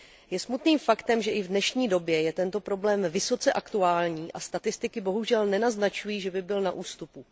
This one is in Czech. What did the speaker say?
Je smutným faktem, že i v dnešní době je tento problém vysoce aktuální, a statistiky bohužel nenaznačují, že by byl na ústupu.